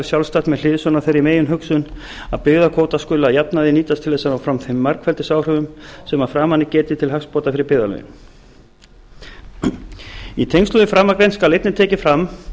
sjálfstætt með hliðsjón af þeirri meginhugsun að byggðakvóta skuli að jafnaði nýta til þess að ná fram þeim margfeldisáhrifum sem að framan er getið til hagsbóta fyrir byggðarlögin í tengslum við framangreint skal einnig tekið fram